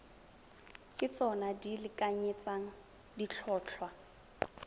ke tsona di lekanyetsang ditlhotlhwa